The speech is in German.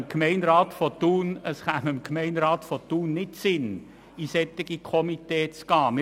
Es käme dem Thuner Gemeinderat nicht in den Sinn, einem solchen Komitee beizutreten.